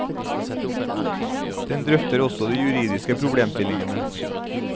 Den drøfter også de juridiske problemstillingene.